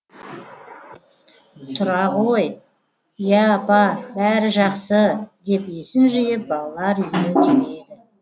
тұра ғой я апа бәрі жақсы деп есін жиып балалар үйіне келеді